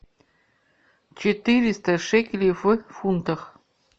четыреста шекелей в фунтах